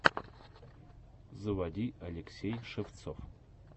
заводи алексей шевцов